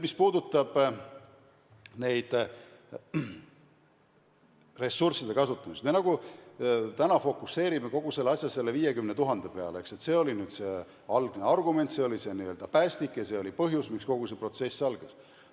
Mis puudutab ressursside kasutamist, siis me fookustame kogu asja praegu nagu selle 50 000 peale, eks, et see oli nüüd algne argument, see oli see n-ö päästik ja põhjus, miks kogu see protsess algas.